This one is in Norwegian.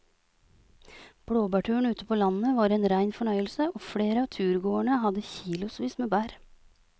Blåbærturen ute på landet var en rein fornøyelse og flere av turgåerene hadde kilosvis med bær.